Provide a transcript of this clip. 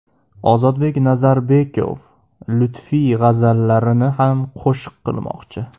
Ozodbek Nazarbekov Lutfiy g‘azallarini ham qo‘shiq qilmoqchi.